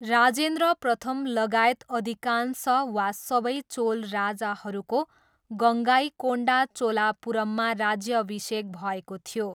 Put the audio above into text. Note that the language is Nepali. राजेन्द्र प्रथमलगायत अधिकांश वा सबै चोल राजाहरूको गङ्गाइकोन्डा चोलापुरममा राज्याभिषेक भएको थियो।